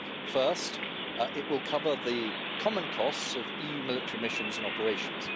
First, it will cover the common costs of EU military missions and operations.